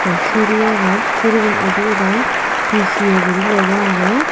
siri agon siri gun udi udai P_C_O guri lega age.